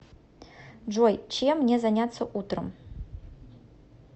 джой чем мне заняться утром